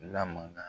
Lamana